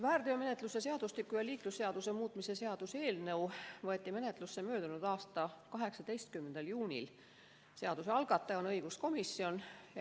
Väärteomenetluse seadustiku ja liiklusseaduse muutmise seaduse eelnõu võeti menetlusse möödunud aasta 18. juunil, seaduse algataja on õiguskomisjon.